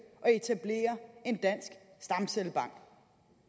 at etablere en dansk stamcellebank